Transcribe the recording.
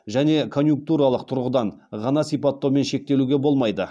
және конъюнктуралық тұрғыдан ғана сипаттаумен шектелуге болмайды